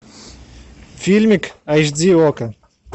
фильмик айч ди окко